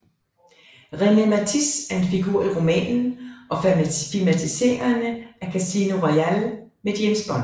René Mathis er en figur i romanen og filmatiseringerne af Casino Royale med James Bond